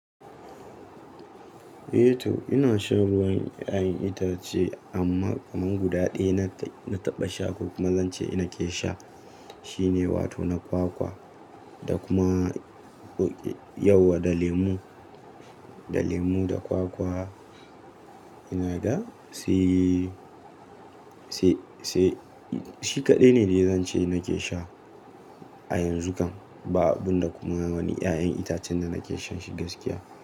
Eh to ina shan ruwan ƴaƴan itace amma kamar guda ɗaya na taɓa sha ko kuma zance ina ke sha. Shi ne wato na kwakwa da kuma yauwa da lemu, da lemu da kwakwa ina ga. Si, si, si shi kaɗai ne da zan ce nake sha a yanzu kan. Ba abin da kuma wani ƴaƴan itacen da nake shan shi gaskiya.